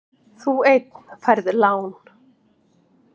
Þú einn færð lán.